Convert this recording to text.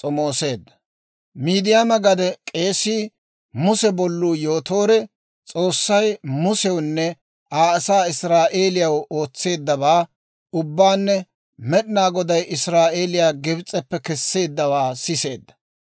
Miidiyaama gade k'eesii, Muse bolluu Yootoore, S'oossay Musewunne Aa asaa Israa'eeliyaw ootseeddabaa ubbaanne Med'inaa Goday Israa'eeliyaa Gibs'eppe kesseeddawaa siseedda.